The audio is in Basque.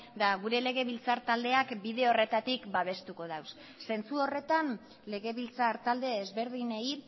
eta gure legebiltzar taldeak bide horretatik babestuko ditu zentzu horretan legebiltzar talde ezberdinei